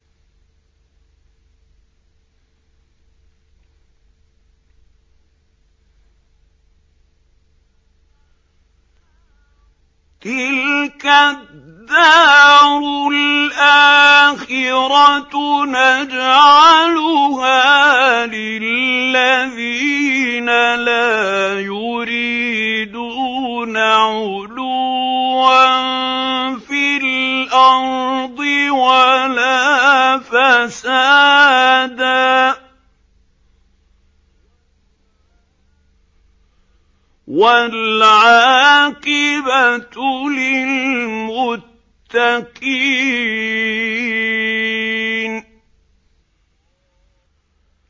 تِلْكَ الدَّارُ الْآخِرَةُ نَجْعَلُهَا لِلَّذِينَ لَا يُرِيدُونَ عُلُوًّا فِي الْأَرْضِ وَلَا فَسَادًا ۚ وَالْعَاقِبَةُ لِلْمُتَّقِينَ